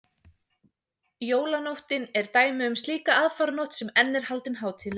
jólanóttin er dæmi um slíka aðfaranótt sem enn er haldin hátíðleg